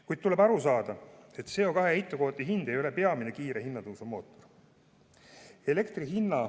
Kuid tuleb aru saada, et CO2 heitmekvoodi hind ei ole peamine kiire hinnatõusu mootor.